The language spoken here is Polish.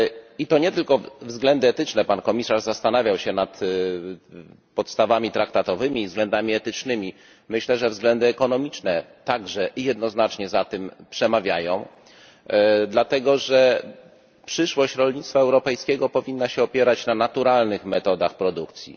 I to nie tylko ze względów etycznych Pan Komisarz zastanawiał się nad podstawami traktatowymi i względami etycznymi myślę, że względy ekonomiczne także jednoznacznie za tym przemawiają, dlatego że przyszłość rolnictwa europejskiego powinna się opierać na naturalnych metodach produkcji.